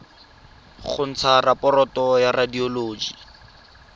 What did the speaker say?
go ntsha raporoto ya radioloji